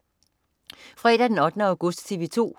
Fredag den 8. august - TV 2: